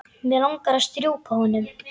Mig langar að strjúka honum.